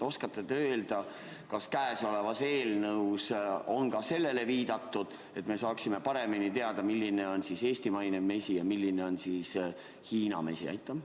Oskate te öelda, kas käesolevas eelnõus on sellele viidatud, et me saaksime paremini teada, milline on eestimaine mesi ja milline on Hiina mesi?